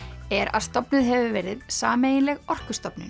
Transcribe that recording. er að stofnuð hefur verið sameiginleg